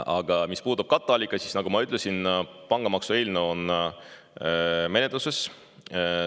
Aga mis puudutab katteallikaid, siis nagu ma ütlesin, pangamaksu eelnõu on menetluses.